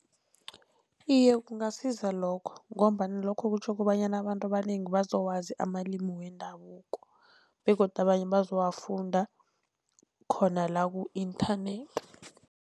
Iye, kungasiza lokho ngombana lokho kutjho kobanyana abantu abanengi bazowazi amalimi wendabuko begodu abanye bazowafunda khona la ku-internet.